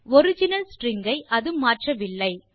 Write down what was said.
original string ஐ அது மாற்றவில்லை